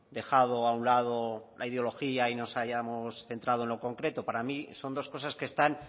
dejado a un lado la ideología y nos hayamos centrado en lo concreto para mí son dos cosas que están